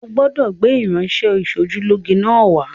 O gbọ́dọ̀ gbé irinṣẹ́-ìṣojúlóge náà wá